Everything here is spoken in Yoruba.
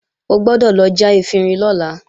O gbọ́dọ̀ lọ já efinrin lọ́la!